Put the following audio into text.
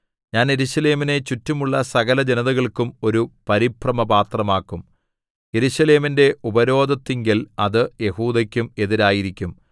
ഞാൻ യെരൂശലേമിനെ ചുറ്റുമുള്ള സകലജനതകൾക്കും ഒരു പരിഭ്രമപാത്രമാക്കും യെരൂശലേമിന്റെ ഉപരോധത്തിങ്കൽ അത് യെഹൂദയ്ക്കും എതിരായിരിക്കും